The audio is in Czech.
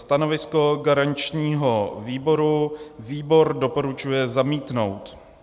Stanovisko garančního výboru - výbor doporučuje zamítnout.